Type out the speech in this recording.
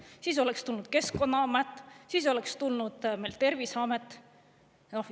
Siis oleks tulnud Keskkonnaamet, siis oleks tulnud meil Terviseamet.